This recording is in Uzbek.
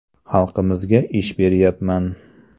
Xalqimizga ish beryapman.